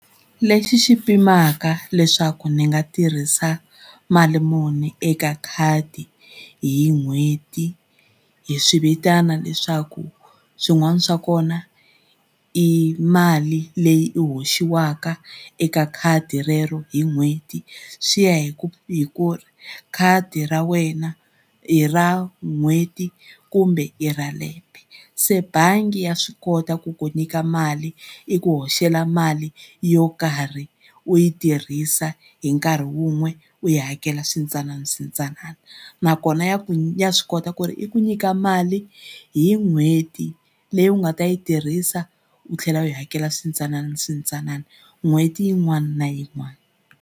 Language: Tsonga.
Lexi xi pimanaka leswaku ndzi nga tirhisa mali muni eka khadi hi n'hweti hi swi vitana leswaku swin'wana swa kona i mali leyi hoxiwaka eka khadi rero hi n'hweti swi ya hi ku hi ku khadi ra wena i ra n'hweti kumbe i ra lembe. Se bangi ya swi kota ku ku nyika mali i ku hoxela mali yo karhi u yi tirhisa hi nkarhi wun'we u yi hakela swintsananaswintsanana nakona ya ku ya swi kota ku ri i ku nyika mali hi n'hweti leyi u nga ta yi tirhisa u tlhela u yi hakela swintsananaswintsanana n'hweti yin'wana na yin'wana.